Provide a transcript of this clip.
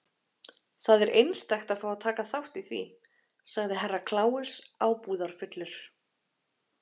Það er einstakt að fá að taka þátt í því, sagði Herra Kláus ábúðarfullur.